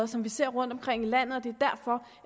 som vi ser rundtomkring i landet og det